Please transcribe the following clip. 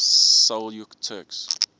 seljuk turks